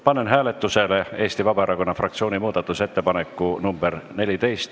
Panen hääletusele Eesti Vabaerakonna fraktsiooni muudatusettepaneku nr 14.